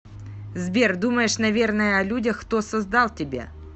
сбер думаешь наверное о людях кто создал тебя